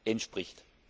entspricht.